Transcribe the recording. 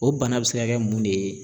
O bana bɛ se ka kɛ mun de ye?